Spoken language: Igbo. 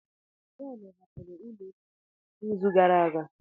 John hapụrụ ụlọ osisi ahụ n'izu gara aga.